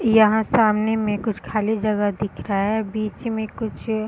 यहां सामने में कुछ खाली जगह दिख रहा है बीच में कुछ --